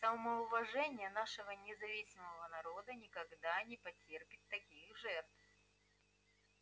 самоуважение нашего независимого народа никогда не потерпит таких жертв